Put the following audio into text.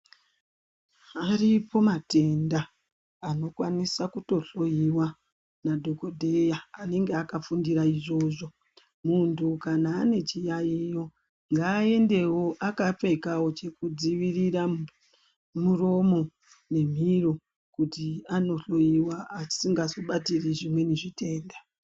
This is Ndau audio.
Aripo matenda anokwanisa kutohloyiwa nadhokodheya anenge akafundira izvozvo. Munhu kana ane chiyaiyo ngaaendewo akapfekawo chokudzivirira muromo nemhino kuti anohloyiwa asingazobatiri zvimweni zvitenda.